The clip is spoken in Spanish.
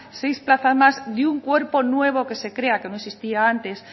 seis plazas más de un cuerpo nuevo que se crea que no existía antes